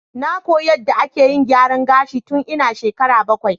Na koyi yadda ake gyaran gashi tun ina shekara bakwai.